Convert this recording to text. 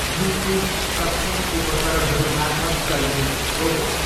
Bluetooth सक्षम उपकरणहरू मार्फत चल्ने रोबोट।